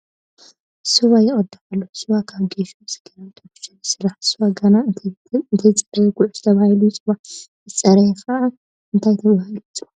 ስዋ ይቕዳሕ ኣሎ፡፡ ስዋ ካብ ጌሾ፣ ስገምን ዳጉሻን ይስራሕ፡፡ ስዋ ገና እንተይፀረየ ጉዕሽ ተባሂሉ ይፅዋዕ፡፡ ምስ ፀረየ ኸ እንታይ ተባሂሉ ይፅዋዕ?